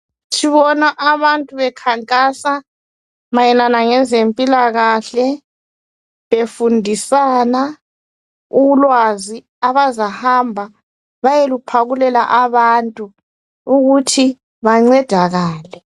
Sibona abantu bekhankasa mayelana lezempilakahle befundisana ulwazi abazahamba bayeluphakalela abantu ukuthi bancedakale.